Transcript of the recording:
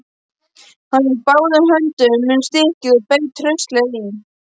Hann tók báðum höndum um stykkið og beit hraustlega í.